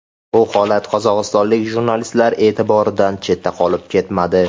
Bu holat qozog‘istonlik jurnalistlar e’tiboridan chetda qolib ketmadi.